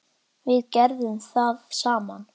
Við gerðum það saman.